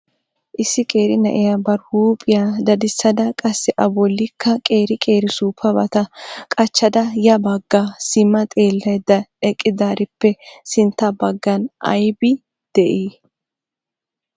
Issi qeeri na'iya bari huuphiyaa daddisada qassi a bollikka qeeri qeeri suuppabata qachchada ya baggi sima xeellaydda eqqidarippe sintta baggan aybbi de'i?